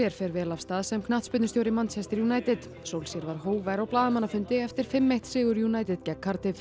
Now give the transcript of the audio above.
fer vel af stað sem knattspyrnustjóri Manchester United solskjær var hógvær á blaðamannafundi eftir fimm til einn sigur United gegn